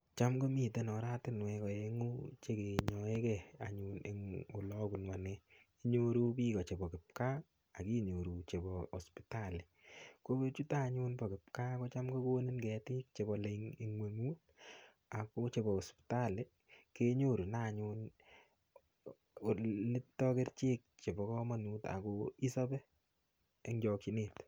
Cham komiten oratinwek oeng'u chekenyoekei anyun eng' ole abunu ane inyoru biko chebo kipkaa akinyoru chebo hospitali ko chuto anyun bo kipkaa kocham kokonin ketik chebolei eng' ing'weng'utako chebo hospitali kenyorune anyun olito kerichek chebo kamanut ako isope eng' chokchinet